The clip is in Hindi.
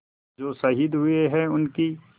जो शहीद हुए हैं उनकी